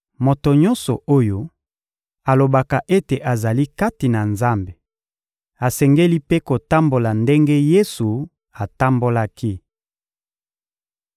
Moto nyonso oyo alobaka ete azali kati na Nzambe asengeli mpe kotambola ndenge Yesu atambolaki.